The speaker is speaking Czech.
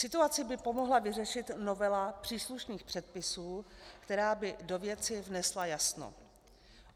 Situaci by pomohla vyřešit novela příslušných předpisů, která by do věci vznesla jasno.